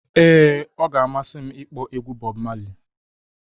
ee, ọ ga-amasị m ịkpọ egwu Bọb Mali